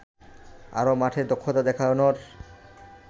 আরও মাঠে দক্ষতা দেখানোর